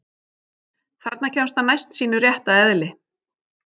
Þarna kemst hann næst sínu rétta eðli.